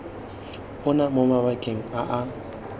ona mo mabakeng a a